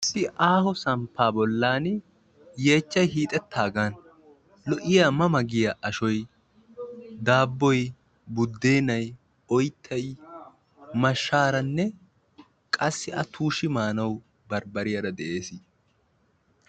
Issi aaho samppa bollan yechchay hiixetaagan lo"iyaa ma ma giya ashshoy, daabboy, budenay, oyttay, mashshaaranne qassi a tuushi maanaw barbbariyaara de'ees.